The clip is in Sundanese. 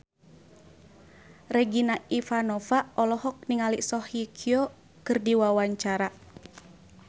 Regina Ivanova olohok ningali Song Hye Kyo keur diwawancara